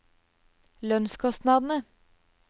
lønnskostnadene